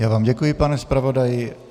Já vám děkuji, pane zpravodaji.